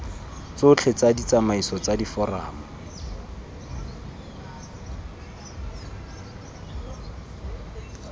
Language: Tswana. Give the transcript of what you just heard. tsotlhe tsa ditsamaiso tsa diforamo